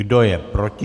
Kdo je proti?